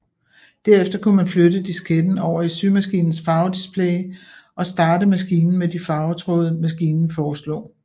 Derefter kunne man flytte disketten over i symaskinens farvedisplay og starte maskinen med de farvetråde maskinen forslog